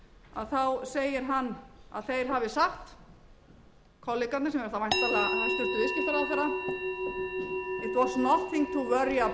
að þá segist hann hafa sagt kolleganum sem er þá væntanlega hæstvirtur viðskiptaráðherra eins vona nothing to worry about þess vegna